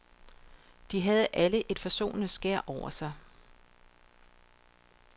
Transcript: De havde alle et forsonende skær over sig.